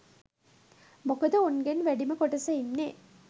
මොකද උන්ගෙන් වැඩිම කොටස ඉන්නේ